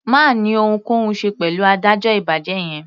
Má ni ohunkóhun ṣe pẹ̀lú adájọ́ ìbàjẹ́ yẹn.